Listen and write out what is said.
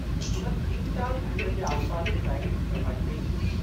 हुननि भीमताल ढंढ जे आसिपासि जे इलाइक़े जी सफ़ाई कई।